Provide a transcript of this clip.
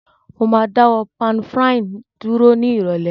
Mo ma dáwó pan-frying dúró ni ìrọ̀lẹ́